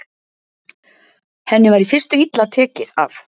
Henni var í fyrstu illa tekið af